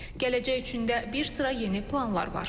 Gələcək üçün də bir sıra yeni planlar var.